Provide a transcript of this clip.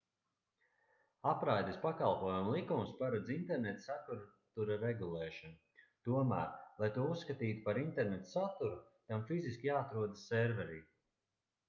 apraides pakalpojumu likums paredz interneta satura regulēšanu tomēr lai to uzskatītu par interneta saturu tam fiziski jāatrodas serverī